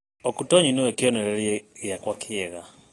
Okutoyi nĩwe kĩoneriria gĩakwa kĩega.